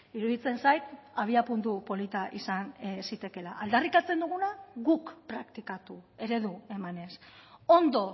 iruditzen zait abiapuntu polita izan zitekela aldarrikatzen duguna guk praktikatu eredu emanez ondo